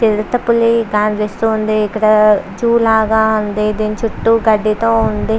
చిరుత పుల్లి కనిపిస్తునది. ఇక్కడ జూ లాగా ఉంది. దీని చుట్టూ గడ్డిలాగా ఉంది.